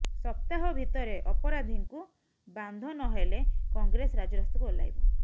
ସପ୍ତାହ ଭିତରେ ଅପରାଧିଙ୍କୁ ବାନ୍ଧ ନହେଲେ କଂଗ୍ରେସ ରାଜରାସ୍ତାକୁ ଓଲ୍ଳାଇବ